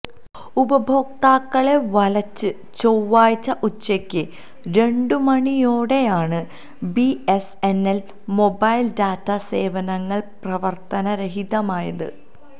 ഉപഭോക്താക്കളെ വലച്ച് ചൊവ്വാഴ്ച ഉച്ചയ്ക്ക് രണ്ടുമണിയോടെയാണ് B S N L mobile data സേവനങ്ങള് പ്രവര്ത്തനരഹിതമായത്